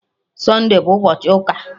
Sunde bụ ụbọchị ụka